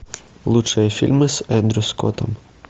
лучшие фильмы с эндрю скоттом